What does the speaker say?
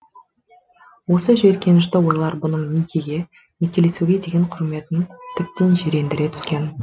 осы жиіркенішті ойлар бұның некеге некелесуге деген құрметін тіптен жирендіре түскен